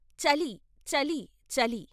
చలి ! చలి ! చలి !